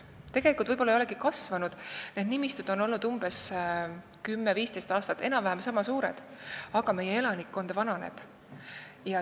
Tegelikult võib-olla ei olegi kasvanud, need on olnud umbes kümme-viisteist aastat enam-vähem ühesuurused, aga meie elanikkond vananeb.